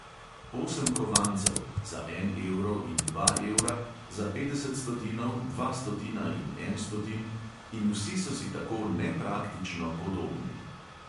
Osem kovancev (za en evro in dva evra; za petdeset stotinov, dva stotina in en stotin) in vsi so si tako nepraktično podobni.